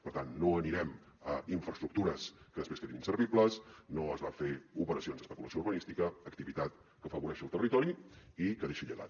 per tant no anirem a infraestructures que després quedin inservibles no es va a fer operacions d’especulació urbanística activitat que afavoreixi el territori i que deixi llegat